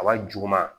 A b'a juguman